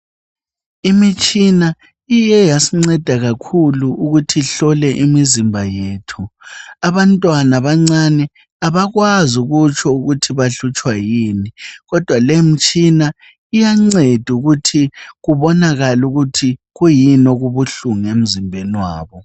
Imitshina iye yasinceda kakhulu ukuthi ihlole imizimba yethu. Abantwana abancane kabakwazi ukutsho ukuthi bahlutshwa yini. Kodwa lemitshina iyanceda, ukuthi kubonakale ukuthi kuyini okubuhlungu emzimbeni wabo.